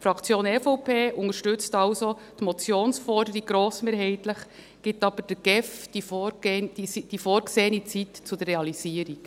Die Fraktion EVP unterstützt also die Motionsforderungen grossmehrheitlich, gibt aber der GEF die vorgesehene Zeit zur Realisierung.